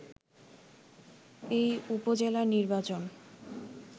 এই উপজেলা নির্বাচন